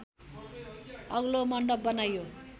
अग्लो मन्डप बनाइयो